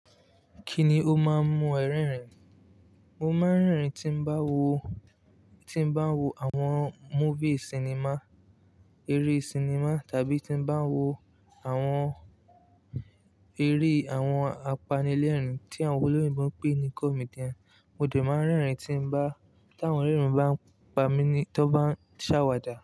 Kí ni o máa ń mu ẹ rẹ́rìn? Mo máa ń rẹ́rìn tí n bá wo, tí n bá wo àwọn movie sinimá, eré sinimá tàbí tí n bá wo àwọn eré àwọn apanilẹ́rìn tí àwọn olóyinbo ń pè ní comedian. Mo de máa ń rẹ́rìn tí n bá, tà awọn ore bá ń pa mí ni, tọ́ n bá ń ṣàwàdà.